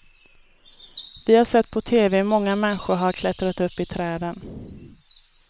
Vi har sett på tv hur många människor har klättrat upp i träden.